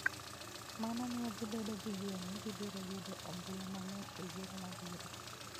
Mano miyo gibedo gi yie ni gibiro yudo ombulu mang'eny e yiero mabiro.